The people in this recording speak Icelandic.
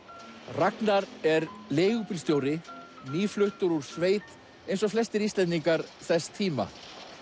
Ragnar er leigubílstjóri nýfluttur úr sveit eins og flestir Íslendingar þess tíma